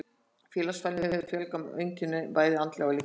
Félagsfælni hefur fjölmörg einkenni, bæði andleg og líkamleg.